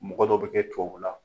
Mɔgɔ dɔ bɛ kɛ tubabu la.